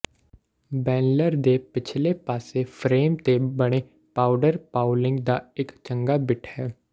ਬੈਂਲਰ ਦੇ ਪਿਛਲੇ ਪਾਸੇ ਫਰੇਮ ਤੇ ਬਣੇ ਪਾਊਡਰ ਪਾਊਲਿੰਗ ਦਾ ਇੱਕ ਚੰਗਾ ਬਿੱਟ ਹੈ